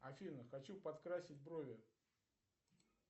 афина хочу подкрасить брови